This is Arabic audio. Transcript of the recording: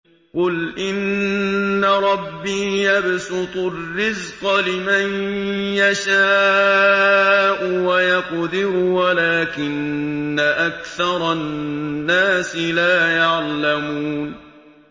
قُلْ إِنَّ رَبِّي يَبْسُطُ الرِّزْقَ لِمَن يَشَاءُ وَيَقْدِرُ وَلَٰكِنَّ أَكْثَرَ النَّاسِ لَا يَعْلَمُونَ